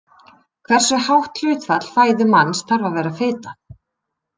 Hversu hátt hlutfall fæðu manns þarf að vera fita?